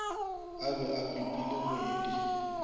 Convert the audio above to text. a be a pipile ngwedi